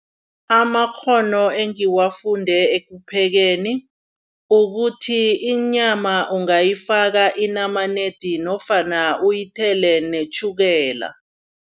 Amakghono engiwafunde ekuphekeni, ukuthi inyama ungayifaka inamanedi nofana uyithele netjhukela.